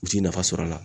U ti nafa sɔrɔ a la